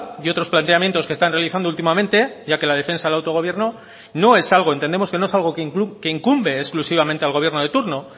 y otros planteamientos que están realizando últimamente ya que la defensa de autogobierno no es algo entendemos que no es algo que incumbe exclusivamente al gobierno de turno